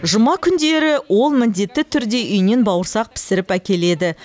жұма күндері ол міндетті түрде үйінен бауырсақ пісіріп әкеледі